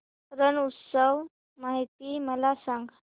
रण उत्सव माहिती मला सांग